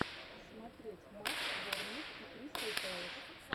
смотреть матч борнмут и кристал пэлас